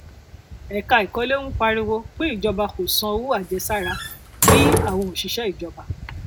ẹka ìkọlé ń pariwo pé ìjọba kò san owó àjẹsára bí àwọn òṣìṣẹ ìjọba